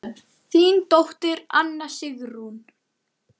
Þín dóttir, Anna Sigrún.